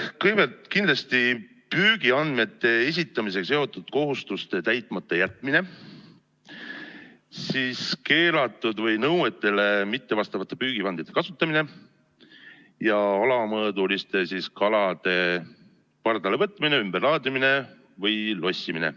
Kõigepealt kindlasti püügiandmete esitamisega seotud kohustuste täitmata jätmine, siis keelatud või nõuetele mittevastavate püügivahendite kasutamine, ja alamõõduliste kalade pardale võtmine, ümberlaadimine või lossimine.